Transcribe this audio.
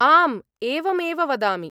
आम्, एवमेव वदामि।